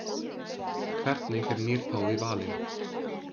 Hvernig er nýr páfi valinn?